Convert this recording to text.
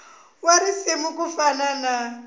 wa risuna ku fana na